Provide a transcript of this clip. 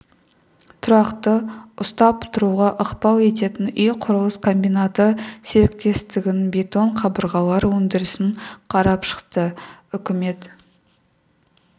тұрақты ұстап тұруға ықпал ететін үй құрылыс комбинаты серіктестігінің бетон қабырғалар өндірісін қарап шықты үкімет